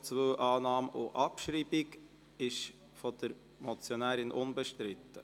Bei Punkt 2 ist der Antrag auf Annahme und Abschreibung von der Motionärin unbestritten.